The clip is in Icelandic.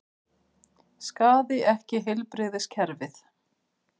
Skaði ekki heilbrigðiskerfið